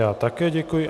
Já také děkuji.